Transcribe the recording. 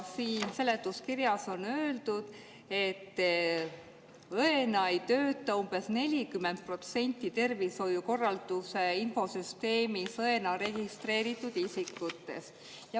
Seletuskirjas on öeldud, et õena ei tööta umbes 40% tervishoiukorralduse infosüsteemis õena registreeritud isikutest.